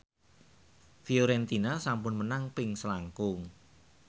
Fiorentina sampun menang ping selangkung